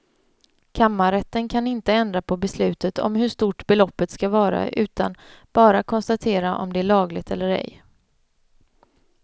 Kammarrätten kan inte ändra på beslutet om hur stort beloppet ska vara utan bara konstatera om det är lagligt eller ej.